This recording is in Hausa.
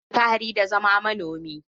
Ina alfahari da zama manomi.